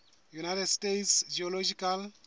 united states geological